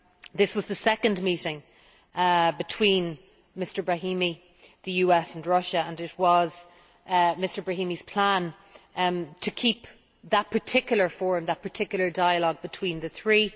This was the second meeting between Mr Brahimi, the US and Russia and it was Mr Brahimi's plan to keep that particular forum, that particular dialogue between the three